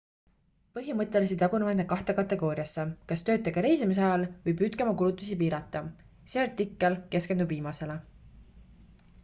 põhimõtteliselt jagunevad need kahte kategooriasse kas töötage reisimise ajal või püüdke oma kulutusi piirata see artikkel keskendub viimasele